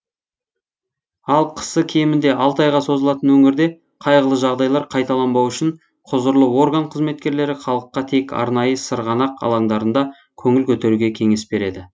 ал қысы кемінде алты айға созылатын өңірде қайғылы жағдайлар қайталанбау үшін құзырлы орган қызметкерлері халыққа тек арнайы сырғанақ алаңдарында көңіл көтеруге кеңес береді